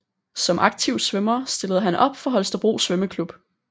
Som aktiv svømmer stillede han op for Holstebro Svømmeclub